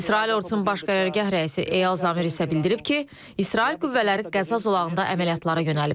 İsrail ordusunun Baş Qərargah rəisi Eyal Zamir isə bildirib ki, İsrail qüvvələri Qəza zolağında əməliyyatlara yönəlib.